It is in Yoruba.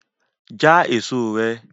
Jẹ èso rẹ!